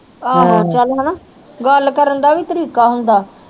ਆਹੋ ਚਲ ਹਣਾ ਗੱਲ ਕਰਨ ਦਾ ਵੀ ਤਰੀਕਾ ਹੁੰਦਾ